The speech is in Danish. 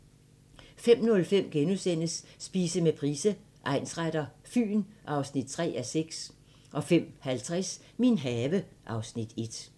05:05: Spise med Price, egnsretter: Fyn (3:6)* 05:50: Min have (Afs. 1)